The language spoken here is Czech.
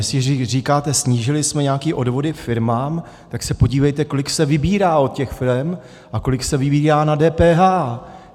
Jestliže říkáte snížili jsme nějaké odvody firmám, tak se podívejte, kolik se vybírá od těch firem a kolik se vybírá na DPH.